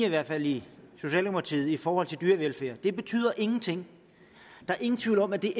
i hvert fald i socialdemokratiet linje i forhold til dyrevelfærd den betyder ingenting der er ingen tvivl om at vi